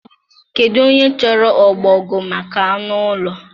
Kedu onye chọrọ ọbọgwụ maka anụ ụlọ